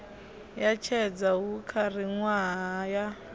ya tshedza hu khalaṅwaha ya